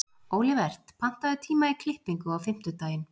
Olivert, pantaðu tíma í klippingu á fimmtudaginn.